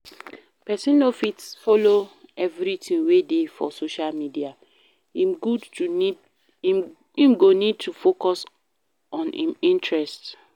Person no fit follow everything wey dey for social media, im go need to focus on im interest